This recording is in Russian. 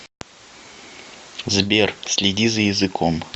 сбер следи за языком